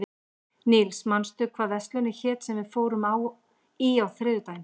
Níls, manstu hvað verslunin hét sem við fórum í á þriðjudaginn?